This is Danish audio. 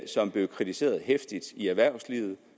som blev kritiseret heftigt i erhvervslivet